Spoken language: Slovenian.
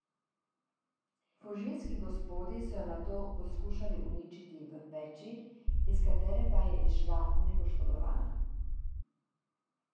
Fužinski gospodi so jo nato poskušali uničiti v peči, iz katere pa je izšla nepoškodovana.